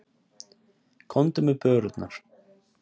Komdu með börurnar.